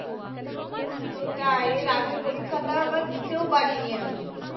সেটাই এর আগে পরীক্ষাটা আবার দিতেও পারিনি আমি